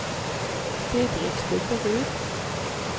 Didrik Stubberud